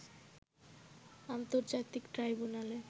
আন্তর্জাতিক ট্রাইব্যুনালে